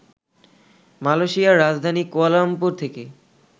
মালয়শিয়ার রাজধানী কুয়ালালামপুর থেকে